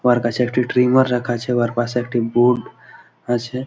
উহার কাছে একটি ট্রিমের রাখা আছে। উয়ার পাশে একটি বোর্ড আছে।